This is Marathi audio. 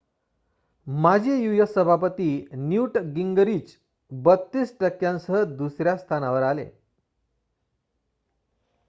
माजी यू.एस. सभापती न्यूट गिंगरिच 32 टक्क्यांसह दुसर्‍या स्थानावर आले